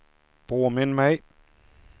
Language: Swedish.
påminn mig